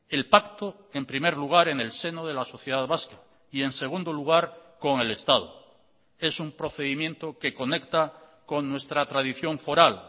el pacto en primer lugar en el seno de la sociedad vasca y en segundo lugar con el estado es un procedimiento que conecta con nuestra tradición foral